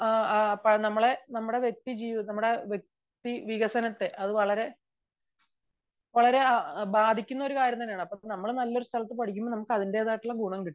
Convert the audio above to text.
നമ്മുടെ വ്യക്തി ജീവിതത്തെ വ്യക്തി വികസനത്തെ അത് വളരെ ബാധിക്കുന്ന ഒരു കാര്യമാണ് . അപ്പോൾ നമ്മൾ സ്ഥലത്തു പഠിക്കുമ്പോൾ നമുക്ക് അതിന്റെതായ ഗുണം കിട്ടും